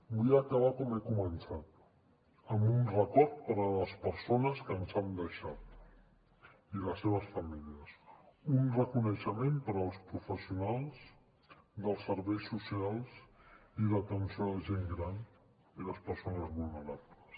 vull acabar com he començat amb un record per a les persones que ens han deixat i les seves famílies un reconeixement per als professionals dels serveis socials i d’atenció a la gent gran i les persones vulnerables